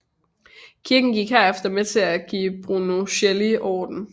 Kirken gik herefter med til at give Brunelleschi ordren